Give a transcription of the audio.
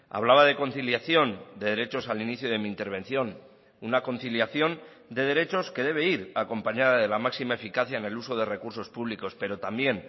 hablaba de conciliación de derechos al inicio de mi intervención una conciliación de derechos que debe ir acompañada de la máxima eficacia en el uso de recursos públicos pero también